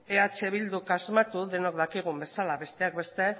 eh bilduk asmatu denok dakigun bezala besteak beste